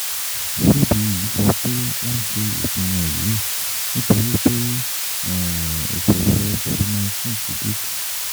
CBE sọ pé wọ́n ṣe ìpinnu yìí nítorí pé ìṣòro COVID nineteen ti dín kù.